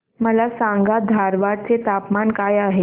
मला सांगा धारवाड चे तापमान काय आहे